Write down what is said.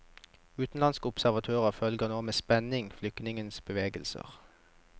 Utenlandske observatører følger nå med spenning flyktningenes bevegelser.